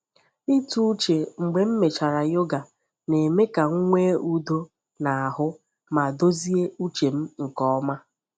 Ịtụ uche mgbe emechara yoga na-eme ka m nwee udo n’ahụ ma dozie uche m nke ọma.